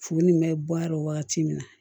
Futeni bɛ bɔ a la wagati min na